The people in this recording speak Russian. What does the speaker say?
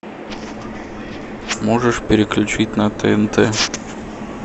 можешь переключить на тнт